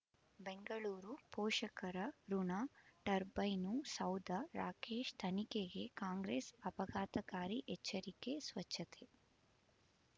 ಬೆಂಗಳೂರು ಪೋಷಕರಋಣ ಟರ್ಬೈನು ಸೌಧ ರಾಕೇಶ್ ತನಿಖೆಗೆ ಕಾಂಗ್ರೆಸ್ ಆಪಘಾತಕಾರಿ ಎಚ್ಚರಿಕೆ ಸ್ವಚ್ಛತೆ